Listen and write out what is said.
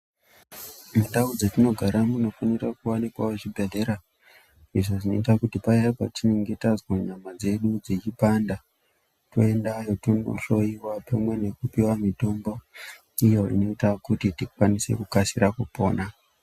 Mundau dzetinogara munofanira kuvanikavo zvibhedhlera. Izvo zvinota kuti paya patinenge tazwa nyama dzedu dzechipanda toendayo tonohloiwa pamwe nekupiva mitombo iyo inoita kuti tikasire kupona.